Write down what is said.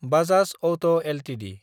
Bajaj auto Ltd